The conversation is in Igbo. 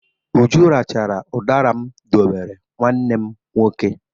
Uju rachara ụdara m dowere nwanne m nwoke.